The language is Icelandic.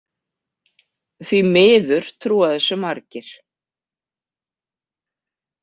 Því miður trúa þessu margir.